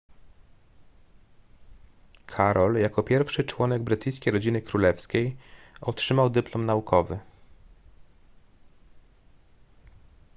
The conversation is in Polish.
karol jako pierwszy członek brytyjskiej rodziny królewskiej otrzymał dyplom naukowy